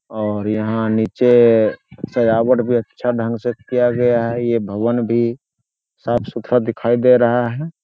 और यहाँ नीचे सजावट भी अच्छा ढंग से किया गया है यह भवन भी साफ-सुथरा दिखाई दे रहा है ।